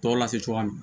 Tɔ lase cogoya min